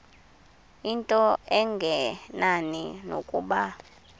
into engenani nokuba